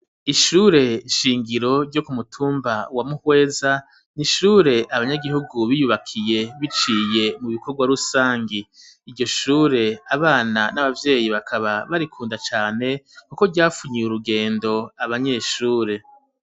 Ishure shingiro ryo ku mutumba wa mu Hweza n ishure abanyagihugu biyubakiye biciye mu bikorwa rusangi iryo shure abana n'abavyeyi bakaba barikunda cane kuko ryafunyiye urugendo abanyeshure